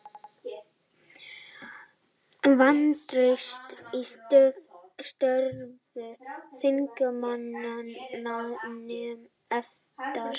Vantraust á störf þingmannanefndar